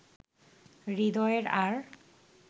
হৃদয়ের আর